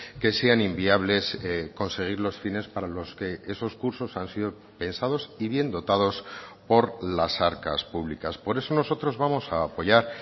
que sean inviables conseguir los fines para los que esos cursos han sido pensados y bien dotados por las arcas públicas por eso nosotros vamos a apoyar